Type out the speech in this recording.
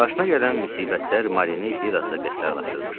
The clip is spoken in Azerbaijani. Başına gələn müsibətlər Marini bir az da qəddarlaqlaşdırmışdı.